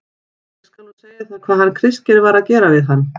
ÉG SKAL NÚ SEGJA ÞÉR HVAÐ HANN KRISTGEIR VAR AÐ GERA VIÐ HANN.